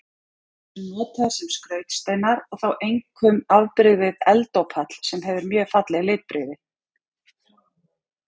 Þeir eru notaðir sem skrautsteinar og þá einkum afbrigðið eldópall sem hefur mjög falleg litbrigði.